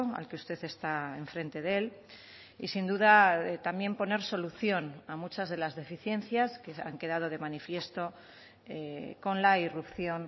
al que usted está enfrente de él y sin duda también poner solución a muchas de las deficiencias que han quedado de manifiesto con la irrupción